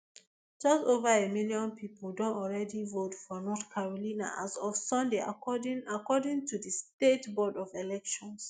just ova a million pipo don already vote for north carolina as of sunday according according to di state board of elections